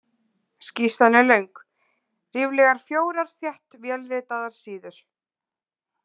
Skýrslan er löng, ríflegar fjórar þétt vélritaðar síður.